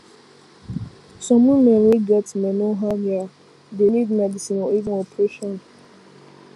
some women wey get menorrhagia dey need medicine or even operation